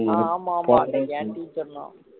ஆஹ் ஆமா ஆமா என் கிட்டயும் சொன்னான்